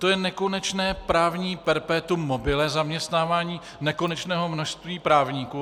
To je nekonečné právní perpetuum mobile, zaměstnávání nekonečného množství právníků.